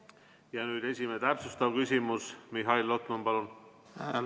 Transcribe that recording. Nüüd esimene täpsustav küsimus, Mihhail Lotman, palun!